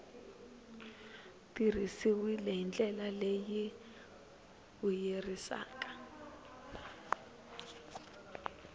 tirhisiwile hi ndlela leyi vuyerisaka